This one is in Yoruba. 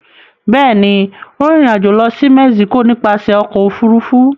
Bẹ́ẹ̀ ni, ó rìnrìn-àjò lọ sí Mexico nípasẹ̀ ọkọ̀-òfurufú.